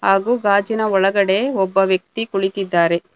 ಹಾಗು ಗಾಜಿನ ಒಳಗಡೆ ಒಬ್ಬ ವ್ಯಕ್ತಿ ಕುಳಿತಿದ್ದಾರೆ.